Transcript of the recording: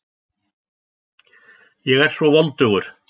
Ég er svo voldugur.